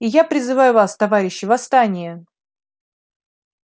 и я призываю вас товарищи восстание